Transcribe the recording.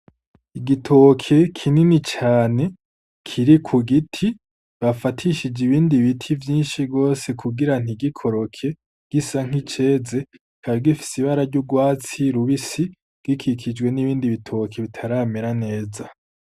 Igitoke kinini cane kiri ku giti bafatishije ibindi biti vyinshi gose kugira ntigikoroke gisa nk'iceze, kikaba gifise ibara ry'urwatsi rubisi gikikijwe n'ibindi bitoke bitaramera neza.